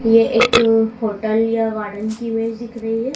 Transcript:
यह एक होटल या गार्डन की इमेज दिख रही हैं।